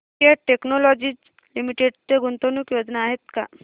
cat Technologies Limited च्या गुंतवणूक योजना आहेत का